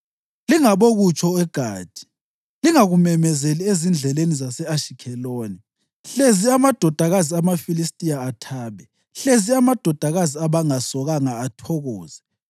Lingabokutsho eGathi, lingakumemezeli ezindleleni zase-Ashikheloni, hlezi amadodakazi amaFilistiya athabe, hlezi amadodakazi abangasokanga athokoze.